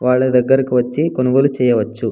వాళ్ల దెగ్గరకి వచ్చి కొనుగులు చేయవచ్చు.